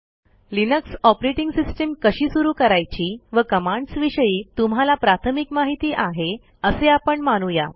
Linux operating system कशी सुरू करायची व कमांड्स विषयी तुम्हाला प्राथमिक माहिती आहे असे आपण मानू या